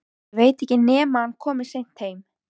Ég veit ekki nema hann komi seint heim